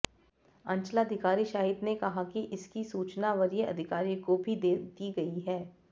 अंचलाधिकारी शाहिद ने कहा कि इसकी सूचना वरीय अधिकारियों को भी दे दी गई है